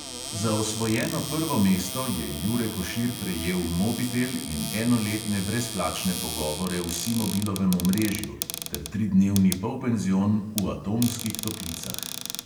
Za osvojeno prvo mesto je jure košir prejel mobitel in enoletne brezplačne pogovore v simobilovem omrežju ter tridnevni polpenzion v atomskih toplicah.